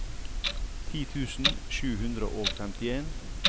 ti tusen sju hundre og femtien